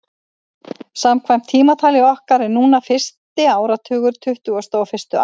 Samkvæmt tímatali okkar er núna fyrsti áratugur tuttugustu og fyrstu aldar.